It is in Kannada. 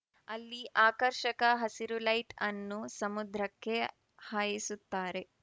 ಅಲ್ಲಿ ಆಕರ್ಷಕ ಹಸಿರು ಲೈಟ್‌ ಅನ್ನು ಸಮುದ್ರಕ್ಕೆ ಹಾಯಿಸುತ್ತಾರೆ